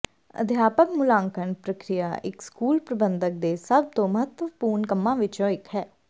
ਅਧਿਆਪਕ ਮੁਲਾਂਕਣ ਪ੍ਰਕਿਰਿਆ ਇੱਕ ਸਕੂਲ ਪ੍ਰਬੰਧਕ ਦੇ ਸਭ ਤੋਂ ਮਹੱਤਵਪੂਰਣ ਕੰਮਾਂ ਵਿੱਚੋਂ ਇੱਕ ਹੈ